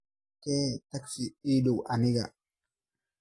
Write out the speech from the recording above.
kee tagsi ii dhow aniga